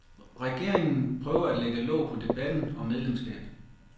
Regeringen prøver at lægge låg på debat om medlemskab.